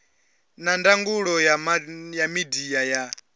na ndangulo ya midia ya